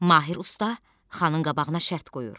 Mahir usta xanın qabağına şərt qoyur.